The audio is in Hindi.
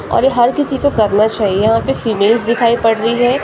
और हर किसी को करना चाहिए यहाँ पर फीमेल्स दिखाई पड़ रही हैं ए--